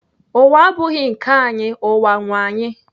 Ụwa abụghị nke anyị, ụwa nwee anyị